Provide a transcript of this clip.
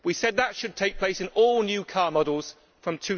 We said that should take place in all new car models from